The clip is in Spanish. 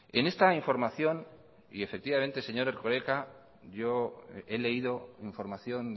en esta información y efectivamente señor erkoreka yo he leído información